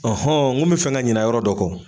n kun bɛ fɛ ka ɲinɛ yɔrɔ dɔ kɔ.